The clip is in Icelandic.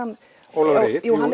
Ólafur Egill